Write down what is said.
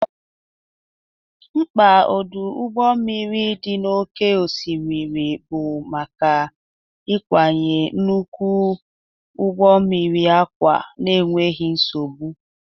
Mkpa ọdụ ụgbọ mmiri dị n'oké osimiri bụ maka ịkwanye nnukwu ụgbọ mmiri akpa n'enweghị nsogbu.